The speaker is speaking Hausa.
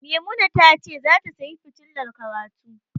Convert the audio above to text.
Maimuna ta ce zata sayi fitilar karatu.